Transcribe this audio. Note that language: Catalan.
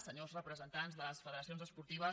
senyors representants de les federacions esportives